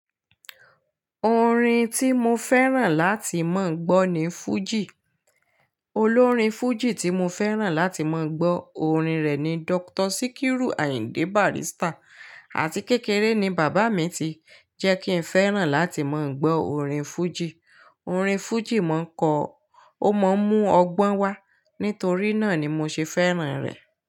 Orin tí mo fẹ́ràn láti máa gbọ́ ni fújì. Olórin fújì tí mo fẹ́ràn láti máa gbọ́ orin rẹ̀ ni Dókítà Síkírù Àyìndé Bàrístà. Àti kékeré ni bàbá mi ti jẹ́ kí n fẹ́ràn láti máa gbọ́ orin fújì. Orin fújì máa ń kọ, ó máa ń mú ọgbọ́n wá. Nítorí náà ni mo ṣe fẹ́ràn rẹ̀